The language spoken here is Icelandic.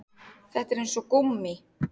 Þetta er eins og gúmmí